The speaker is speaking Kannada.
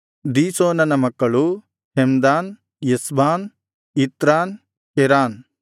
ದೀಶೋನನ ಮಕ್ಕಳು ಹೆಮ್ದಾನ್ ಎಷ್ಬಾನ್ ಇತ್ರಾನ್ ಕೆರಾನ್